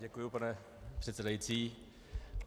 Děkuji, pane předsedající.